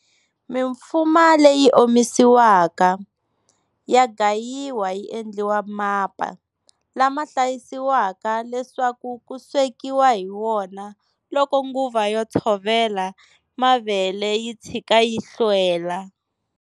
Mimfuma leyi omisiwake, ya gayiwa yi endliwa mapa, lama hlayisiwaka leswaku ku swekiwa hi wona loko nguva yo tshovela mavele yitshika yi hlwela.